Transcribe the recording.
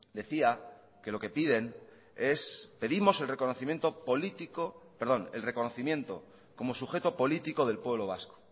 decía que lo que piden es pedimos el reconocimiento político perdón el reconocimiento como sujeto político del pueblo vasco